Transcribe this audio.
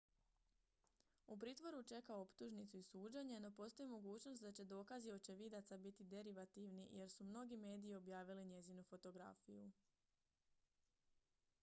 u pritvoru čeka optužnicu i suđenje no postoji mogućnost da će dokazi očevidaca biti derivativni jer su mnogi mediji objavili njezinu fotografiju